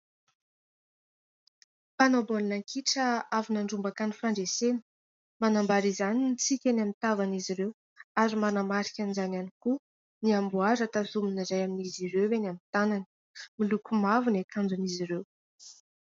Mpanao baolina kitra avy nandrombaka ny fandresena. Manambara izany ny tsiky eny amin'ny tavan'izy ireo ary manamarika an'izany koa ny amboara tazomin'ny iray amin'izy ireo eny amin'ny tanany. Miloko mavo ny akanjon'izy ireo.